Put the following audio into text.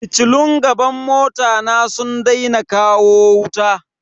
Fitilun gaban mota na sun daina kawo wuta.